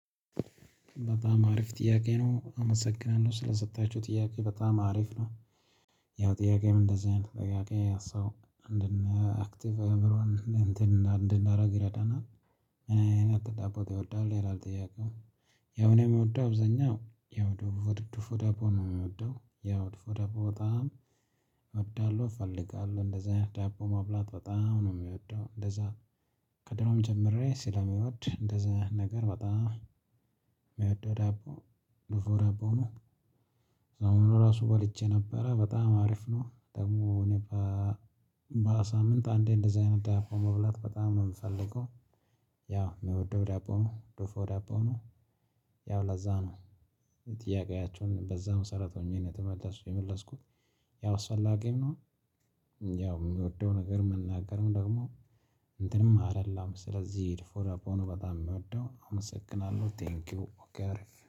በጣም አሪፍ ጥያቄ ነው አመሰግናለሁ ስለሰጣችሁ ጥያቄ በጣም አሪፍ ነው። ያው ጥያቄም እንደዚህ አይነት ጥያቄ አነሳው አንድና አክቲቭ እዕምሮን እንትን እንድናደርግ ይረዳናል። ነጭ ዳቦ ይወዳል ይላል ጥያቄው። ያው እኔ የምወደው አብዛኛው ያው ድፎ ድፎ ዳቦ ነው የምወደው ያ ድፎ ዳቦ በጣም። እወዳለሁ እፈልጋለሁ እንደዛ አይነት ዳቦ መብላት በጣም ነው የምወደው። እንደዛ ከድሮም ጀምሬ ስለምወድ እንደዛ አይነት ነገር በጣም የሚወደው ዳቦ ድፎ ዳቦ ነው። አሁን እራሱ በልቼ ነበረ በጣም አሪፍ ነው። ደግሞ እኔ በሳምንት አንዴ እንደዚህ አይነት ዳቦ መብላት በጣም ነው የምፈልገው። ያው ምወደው ዳቦ ድፎ ደቦ ነው። ያው ለዛ ነው። ጥያቄያችሁን በዛ መሰረት ሆኜ ነው የመለስኩት። ያው አስፈላጊም ነው። ያው የምወደው ነገር መናገርም ደግሞ እንትንም አይደለም ስለዚህ ድፎ ዳቦ ሆኖ በጣም የምወደው አመሰግናለሁ ቴንኪው ኦኬ አሪፍ